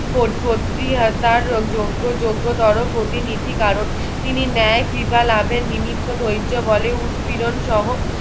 তার যোগ্য যোগ্যতর প্রতিনিধি কারণ তিনি ন্যায় কৃপা লাভের নিমিত্ত ধৈযবলে উতপীড়ণসহ